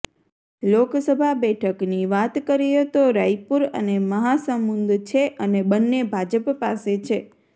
લોકસભા બેઠકની વાત કરીએ તો રાયપુર અને મહાસમુંદ છે અને બંને ભાજપ પાસે છે